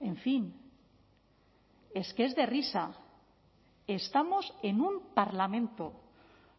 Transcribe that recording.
en fin es que es de risa estamos en un parlamento